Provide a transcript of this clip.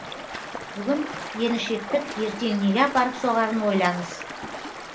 бүгін еріншектік ертең неге апарып соғарын ойлаңыз